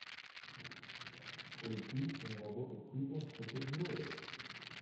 включи киноработу типа супергероев